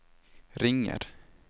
ringer